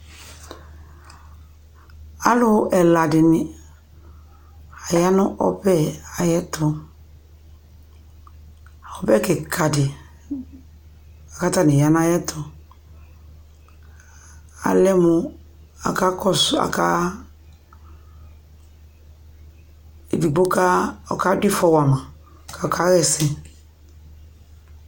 alʋ ɛla dini ayanʋ ɔbɛ ayuɛtʋ ɔbɛ kikadi katani aya nayɛtʋ alɛmʋ aka kɔsʋ aka edigbo ɔkadʋ iƒɔwama kakahɛsɛ